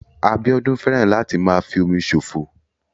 Abíọ́dún fẹ́ràn láti máa fi omi ṣòfò